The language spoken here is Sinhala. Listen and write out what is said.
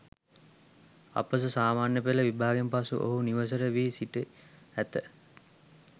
අපොස සාමාන්‍ය පෙළ විභාගයෙන් පසු ඔහු නිවසට වී සිට ඇත.